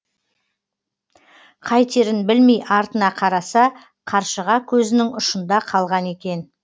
қайтерін білмей артына қараса қаршыға көзінің ұшында қалған екен